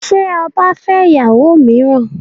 Ṣé ọba fẹ́ ìyàwó mìíràn?